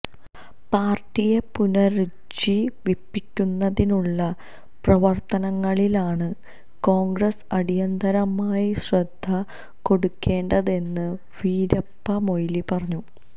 പാര്ട്ടിയെ പുനരുജ്ജീവിപ്പിക്കുന്നതിനുള്ള പ്രവര്ത്തനങ്ങളിലാണ് കോണ്ഗ്രസ് അടിയന്തരമായി ശ്രദ്ധ കൊടുക്കേണ്ടതെന്ന് വീരപ്പമൊയ്ലി പറഞ്ഞു